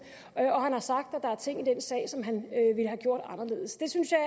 og har sagt at der er ting i den sag som han ville have gjort anderledes det synes jeg